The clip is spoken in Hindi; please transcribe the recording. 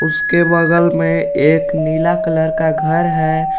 उसके बगल में एक नीला कलर का घर है।